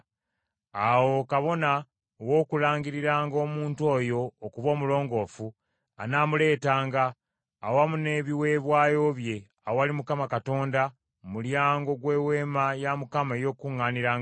Awo kabona ow’okulangiriranga omuntu oyo okuba omulongoofu, anaamuleetanga, awamu n’ebiweebwayo bye, awali Mukama Katonda mu mulyango gw’Eweema ey’Okukuŋŋaanirangamu.